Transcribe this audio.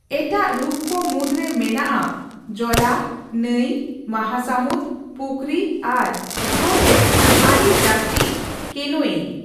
ᱮᱴᱟᱜ ᱨᱩᱯᱠᱚ ᱢᱩᱫᱽᱨᱮ ᱢᱮᱱᱟᱜᱼᱟ ᱡᱚᱞᱟ, ᱱᱟᱹᱭ, ᱢᱟᱦᱟᱥᱟᱢᱩᱫᱽ, ᱯᱩᱠᱷᱨᱤ ᱟᱨ ᱥᱨᱳᱛ ᱨᱮ ᱟᱰᱤ ᱡᱟᱥᱛᱤ ᱠᱮᱱᱳᱭᱤᱝ ᱾